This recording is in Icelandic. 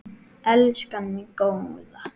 Elskan mín góða.